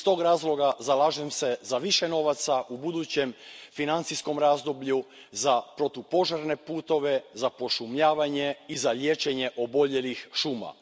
Iz tog razloga, zalažem se za više novaca u budućem financijskom razdoblju za protupožarne putove, za pošumljavanje i za liječenje oboljelih šuma.